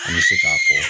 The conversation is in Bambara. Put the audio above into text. An bɛ se k'a fɔ